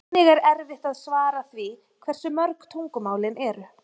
Einnig er erfitt að svara því hversu mörg tungumálin eru.